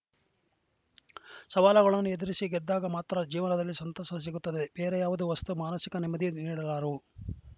ಸವಾಲಗಳನ್ನು ಎದುರಿಸಿ ಗೆದ್ದಾಗ ಮಾತ್ರ ಜೀವನದಲ್ಲಿ ಸಂತಸ ಸಿಗುತ್ತದೆ ಬೇರಾವುದೇ ವಸ್ತು ಮಾನಸಿಕ ನೆಮ್ಮದಿ ನೀಡಲಾರವು